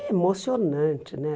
emocionante, né?